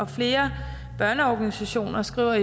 flere børneorganisationer skriver